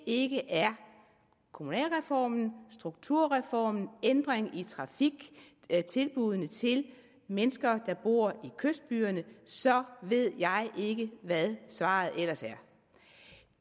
ikke er kommunalreformen strukturreformen ændringen i trafikken og tilbuddene til mennesker der bor i kystbyerne så ved jeg ikke hvad svaret ellers er